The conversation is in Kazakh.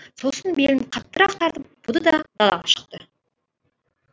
сосын белін қаттырақ тартып буды да далаға шықты